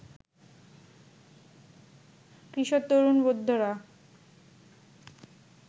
কিশোর, তরুণ, বৃদ্ধরা